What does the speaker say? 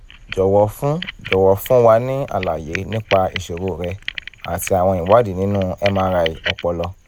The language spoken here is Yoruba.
jọ̀wọ́ fún jọ̀wọ́ fún wa ní àlàyé nípa ìṣòro rẹ àti àwọn ìwádìí nínú mri ọpọlọ